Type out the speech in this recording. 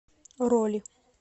роли